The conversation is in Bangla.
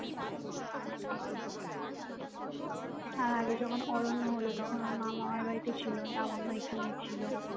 আর আগে যখন অরণ্য হোল তখন ওর মা মামার বাড়িতে ছিল লাবণ্য এখানেই ছিল